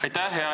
Aitäh!